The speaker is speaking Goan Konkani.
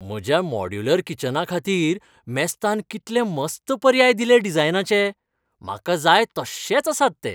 म्हज्या मॉड्यूलर किचनाखातीर मेस्तान कितले मस्त पर्याय दिले डिझायनाचे. म्हाका जाय तश्शेच आसात ते.